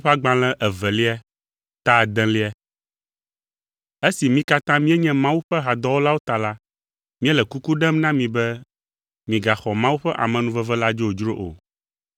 Esi mí katã míenye Mawu ƒe hadɔwɔlawo ta la, míele kuku ɖem na mi be migaxɔ Mawu ƒe amenuveve la dzodzro o.